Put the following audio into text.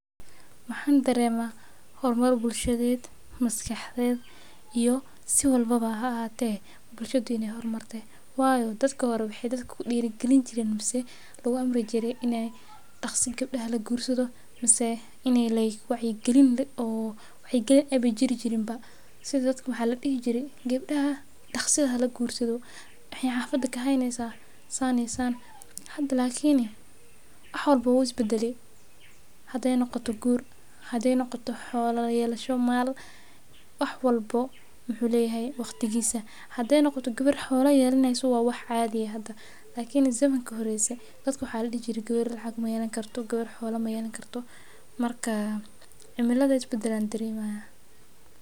Mxaan dareema hor mar bulshada iyo masxakaxda dadka hore waxaa dadka lagu Amri jire in gabdaha daqsi lagursado lakin hada wax walbo wuu is badale hadii aay noqoto gabar xoola yeleysa narka is badal ayaan dareemaya.